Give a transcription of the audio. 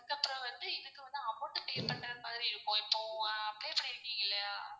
அதுக்கு அப்பறம் வந்து இதுக்கு வந்து amount pay பண்றது மாதிரி இருக்கும் ஆஹ் pay பண்ணிருக்கீங்கலயா?